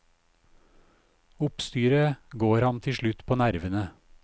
Oppstyret går ham tilslutt på nervene.